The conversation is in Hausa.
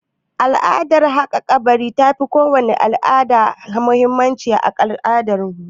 Al'adar haƙa kabari ta fi kowace al'ada muhimmanci a al'adun mutuwa